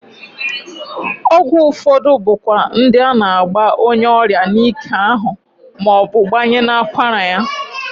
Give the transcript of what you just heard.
Ọgwụ ụfọdụ bụ kwa ndi a na-agba onyeọrịa n'ike ahụ ma ọ bụ gbanye n'akwara ya.